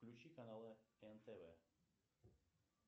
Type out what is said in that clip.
включи каналы нтв